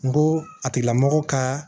N ko a tigila mɔgɔ kaaa